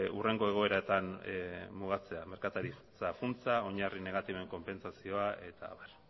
hurrengo egoeratan mugatzea merkataritza funtsa oinarri negatiboen konpentsazioa eta abar